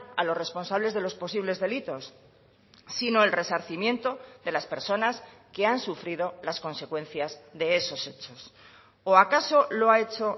a los responsables de los posibles delitos sino el resarcimiento de las personas que han sufrido las consecuencias de esos hechos o acaso lo ha hecho